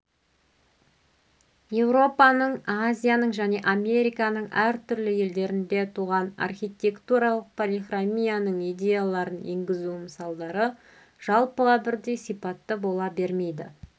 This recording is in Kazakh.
еуропаның азияның және американың әртүрлі елдерінде туған архитектуралық полихромияның идеяларын енгізу мысалдары жалпыға бірдей сипатты бола бермейді